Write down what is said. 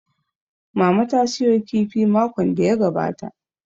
Mama ta sayo kifi makon da ya gabata